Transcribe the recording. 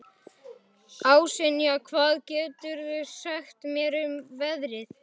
Ásynja, hvað geturðu sagt mér um veðrið?